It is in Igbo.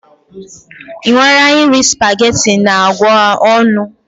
Ị nwara iri spaghetti na agwa ọnụ?